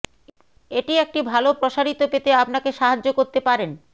এটি একটি ভাল প্রসারিত পেতে আপনাকে সাহায্য করতে পারেন